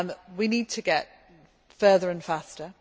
going. We need to get further and faster.